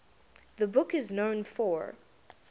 the book is known for